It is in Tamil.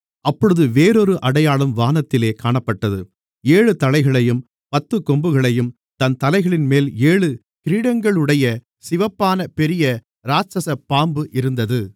அப்பொழுது வேறொரு அடையாளம் வானத்திலே காணப்பட்டது ஏழு தலைகளையும் பத்துக் கொம்புகளையும் தன் தலைகளின்மேல் ஏழு கிரீடங்களையுடைய சிவப்பான பெரிய இராட்சசப் பாம்பு இருந்தது